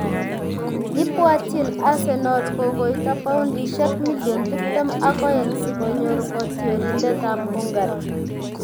Ibwatjin Arsenal kokoito paundisiek million tiptem ak oeng si konyor kotiorindetab Hungary